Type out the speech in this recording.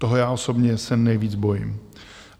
Toho já osobně se nejvíc bojím.